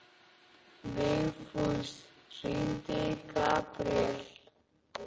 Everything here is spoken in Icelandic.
Vigfús, hringdu í Gabriel.